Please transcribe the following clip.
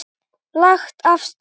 Lagt af stað